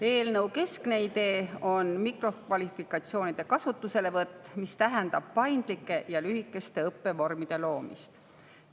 Eelnõu keskne idee on mikrokvalifikatsioonide kasutuselevõtt, mis tähendab paindlike ja lühikeste õppevormide loomist.